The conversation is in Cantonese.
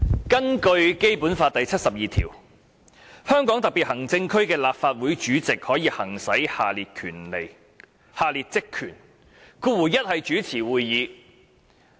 根據《基本法》第七十二條，香港特別行政區立法會主席可行使各項職權，第一款是主持會議。